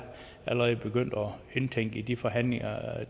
begyndt at indtænke i de forhandlinger